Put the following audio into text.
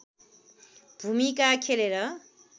भूमिका खेलेर